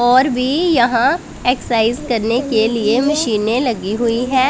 और भी यहां एक्ससाइज करने के लिए मशीने लगी हुई है।